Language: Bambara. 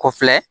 Ko filɛ